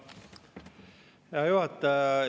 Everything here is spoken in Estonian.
Hea juhataja!